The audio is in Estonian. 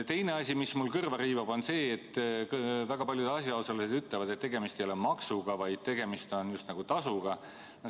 Teine asi, mis mul kõrva riivab, on see, et väga paljud asjaosalised ütlevad, et tegemist ei ole maksuga, vaid tegemist on just nagu tasuga.